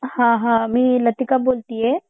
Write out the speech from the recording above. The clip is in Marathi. हा हा मी लतिका बोलतिये